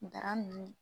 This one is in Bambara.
Daramu